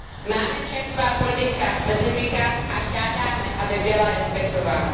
Máme však svá politická specifika a žádáme, aby byla respektována.